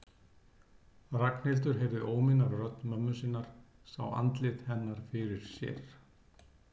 Ragnhildur heyrði óminn af rödd mömmu sinnar, sá andlit hennar fyrir sér.